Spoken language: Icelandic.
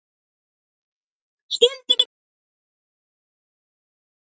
Stundum er það enn notað.